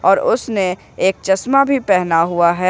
और उसने एक चश्मा भी पहना हुआ है ।